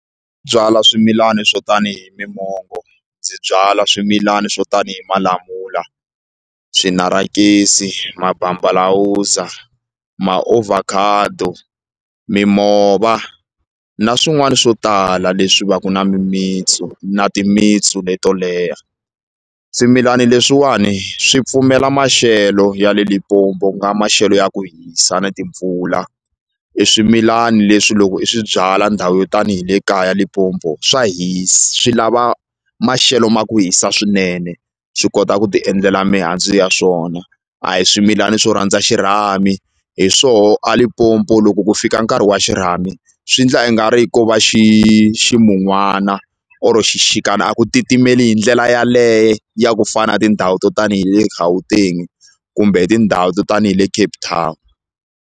Byala swimilani swo tanihi mi mongo ndzi byala swimilani swo tanihi malamula, swinarakesi, mabambalawuza, maovhakhado mimova na swin'wana swo tala leswi va ku na mimititsu na timitsu leto leha swimilani leswiwani swi pfumela maxelo ya le Limpopo ku nga maxelo ya ku hisa na timpfula i swimilani leswi loko i swi byala ndhawu yo tanihi le kaya Limpopo swa swi lava maxelo ma ku hisa swinene swi kota ku ti endlela mihandzu ya swona a hi swimilani swo rhandza xirhami hi swoho a Limpopo loko ku fika nkarhi wa xirhami swi ndla i nga ri ko va xi ximunwana or xixikana a ku titimela hi ndlela yaleye ya ku fana na tindhawu to tanihi le Gauteng kumbe hi tindhawu to tanihi le Cape Town.